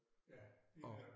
Ja lige netop